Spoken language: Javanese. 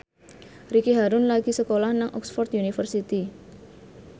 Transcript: Ricky Harun lagi sekolah nang Oxford university